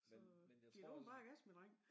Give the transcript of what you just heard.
Så giv du den bare gas min dreng